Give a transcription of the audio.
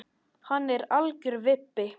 Hann er algjör vibbi.